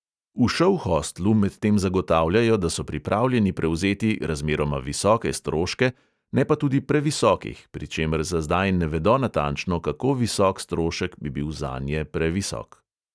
V šouhostlu medtem zagotavljajo, da so pripravljeni prevzeti "razmeroma visoke stroške", ne pa tudi previsokih, pri čemer za zdaj ne vedo natančno, kako visok strošek bi bil zanje previsok.